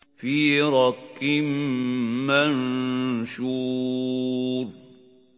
فِي رَقٍّ مَّنشُورٍ